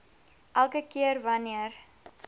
elke keer wanneer